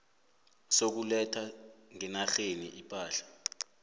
sokuletha ngenarheni ipahla